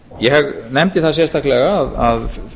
ég nefndi það sérstaklega að